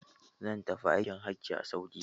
Zan tafi aikin hajji a Saudiyya.